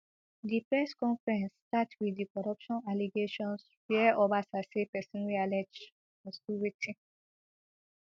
di press conference start wit di corruption allegations wia obasa say pesin wey allege must do wetin